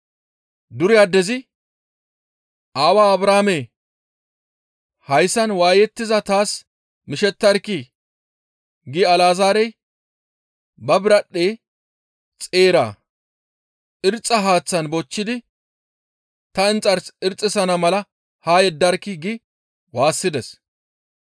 «Dure addezi, ‹Aawaa Abrahaamee! Hayssan waayettiza taas mishettarkkii! gi Alazaarey ba biradhdhe xeera irxxa haaththan bochchidi ta inxars irxxisana mala haa yeddarkkii!› gi waassides.